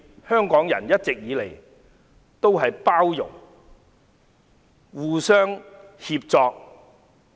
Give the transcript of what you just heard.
香港人一直以來都互相包容、互相協助。